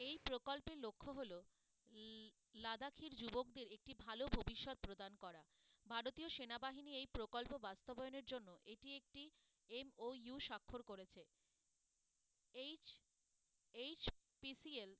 এই প্রকল্পের লক্ষ হলো লা~ লাদাখের যুবকদের একটি ভালো ভবিষ্যৎ প্রদান করা ভারতীয় সেনাবাহিনী এই প্রকল্প বাস্তবায়নের জন্য এটি একটি MOU সাক্ষর করেছে, H~ HPCL